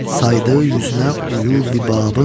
Saydı üzünə uyub bir babın.